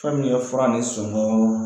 Fɛn min ye fura ni songon